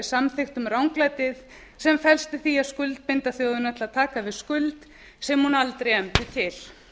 samþykktum ranglætið sem felst í því að skuldbinda þjóðina til að taka við skuld sem hún aldrei efndi til